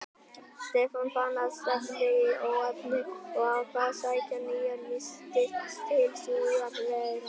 Stefán fann að stefndi í óefni og ákvað að sækja nýjar vistir til Suðureyrar.